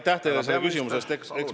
Aitäh teile selle küsimuse eest!